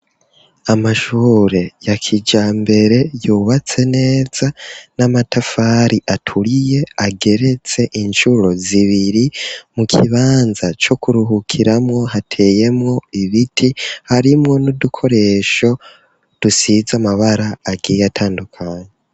Amashure ya kijambere, yubatse neza, n'amatafari aturiye, ageretse incuro zibiri; mu kibanza c'ukuruhukiramwo, hateye ibiti, harimwo n'udukoresho, dusize amabara agiye atandukanye.